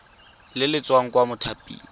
le le tswang kwa mothaping